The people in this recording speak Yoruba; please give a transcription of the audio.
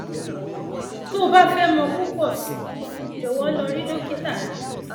tó o bá fẹ mọ púpọ sí i jọwọ lọ rí dókítà rẹ